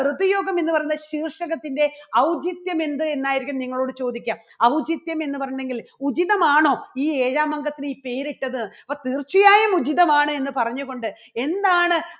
ഋതു യോഗം എന്ന് പറയുന്ന ശീർഷകത്തിന്റെ ഔചിത്യം എന്ത്? എന്നായിരിക്കും നിങ്ങളോട് ചോദിക്കുക. ഔചിത്യം എന്ന് വരണമെങ്കിൽ ഉചിതമാണോ ഈ ഏഴാം അംഗത്തിന് ഈ പേരിട്ടത്? തീർച്ചയായും ഉചിതമാണ് എന്ന് പറഞ്ഞുകൊണ്ട് എന്താണ്